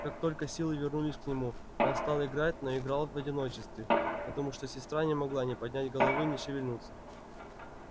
как только силы вернулись к нему он стал играть но играл в одиночестве потому что сестра не могла ни поднять головы ни шевельнуться